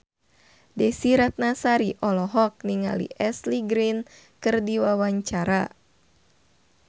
Desy Ratnasari olohok ningali Ashley Greene keur diwawancara